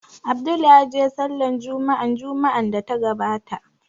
Abdul ya je Sallar Jumma'a Juma'an da ta gabata